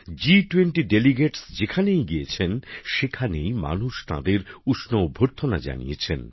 জি20র প্রতিনিধিরা যেখানেই গিয়েছেন সেখানেই মানুষ তাঁদের উষ্ণ অভ্যর্থনা জানিয়েছে